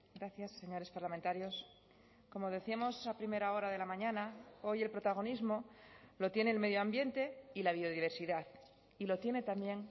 gracias señores parlamentarios como decíamos a primera hora de la mañana hoy el protagonismo lo tiene el medio ambiente y la biodiversidad y lo tiene también